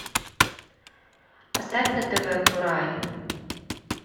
поставь на тв курай